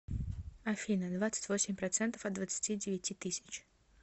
афина двадцать восемь процентов от двадцати девяти тысяч